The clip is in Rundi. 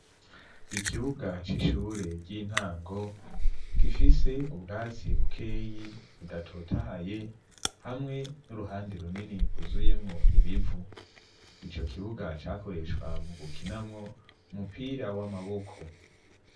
Iikibuga c'ishure ry'intango gifise ubwatsi bukeyi budatotahaye hamwe n'uruhande runini kuzuyemwo ibivu, ico kibuga cakoreshwa mu gukinamwo umupira w'amaboko.